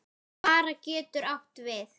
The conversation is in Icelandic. Bera getur átt við